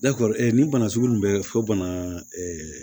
nin bana sugu min bɛ fɔ bana ɛɛ